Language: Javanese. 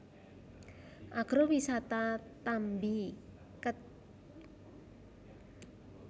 Agrowisata Tambi Kec